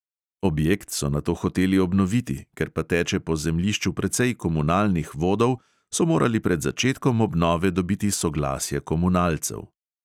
Objekt so nato hoteli obnoviti, ker pa teče po zemljišču precej komunalnih vodov, so morali pred začetkom obnove dobiti soglasje komunalcev.